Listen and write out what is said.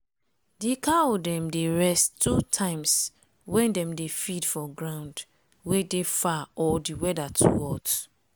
d cow dem dey rest two times wen dem dey feed for ground wey dey far or d weather too hot.